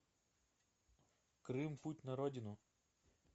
крым путь на родину